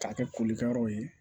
K'a kɛ kolikɛyɔrɔ ye